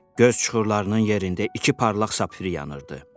Göz çuxurlarının yerində iki parlaq sapfir yanırdı.